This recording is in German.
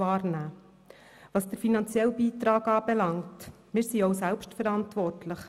Was den finanziellen Beitrag anbelangt, sind wir auch selbstverantwortlich.